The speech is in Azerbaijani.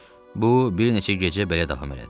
Bu bir neçə gecə belə davam elədi.